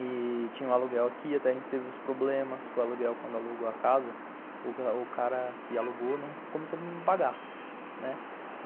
E tinha um aluguel aqui, até a gente teve uns problemas com o aluguel quando alugou a casa, o cara que alugou não começou a pagar, né.